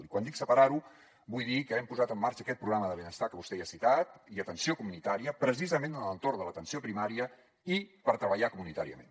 i quan dic separar ho vull dir que hem posat en marxa aquest programa de benestar que vostè ja ha citat i atenció comunitària precisament en l’entorn de l’atenció primària i per treballar comunitàriament